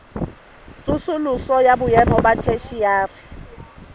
tsosoloso ya boemo ba theshiari